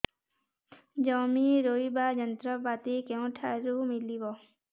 ଜମି ରୋଇବା ଯନ୍ତ୍ରପାତି କେଉଁଠାରୁ ମିଳିବ